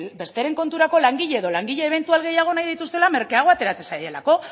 besteren konturako langile edo langile ebentual gehiago nahi dituztela merkeago ateratzen zaielako